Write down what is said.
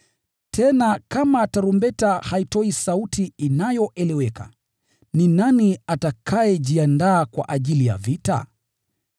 Tena kama tarumbeta haitoi sauti inayoeleweka, ni nani atakayejiandaa kwa ajili ya vita?